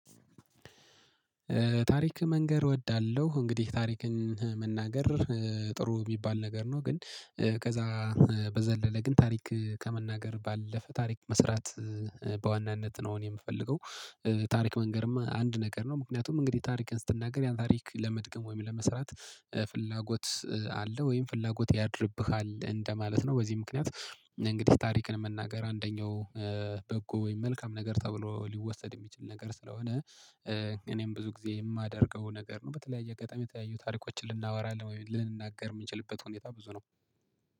ታሪክ መንገር እወዳለሁ እንግዲህ ታሪክን መናገር ጥሩ የሚባል ነገር ነው። ግን ከዛ በዘለለ ግን ታሪክ ከመናገር ባለፈ ታሪክ መስራት በዋናነት ነው እኔ የምፈልገው። ታሪክ መንገርማ አንድ ነገር ነው። ምክንያቱም እንግዲህ ታሪክን ስትናገር ያን ታሪክ ለመድገም ወይም ለመስራት ፍላጎት አለ ወይም ፍላጎት ያድርብሃል እንደማለት ነው። በዚህ ምክንያት እንግዲህ ታሪክን መናገር አንደኛው በጎ ወይም መልካም ነገር ተብሎ ሊወሰድ የሚችል ነገር ስለሆነ። እኔም ብዙ ጊዜ የማደርገው ነገር ነው። በተለያየ አጋጣሚ የተለያዩ ታሪኮችን ልናወራ ወይ ልንናገር የምንችልበት ሁኔታ ብዙ ነው